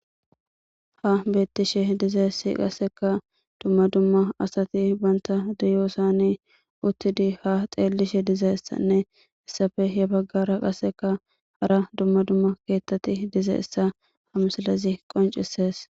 ha bettishe dizayssi qasseka dumma dumma asati banta diyoosani uttidi ha xeellishe dizaessanne issafe he baggara qasseka hara dumma dumma keettati diza issa hamsilazi qoncisees